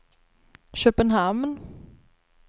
Köpenhamn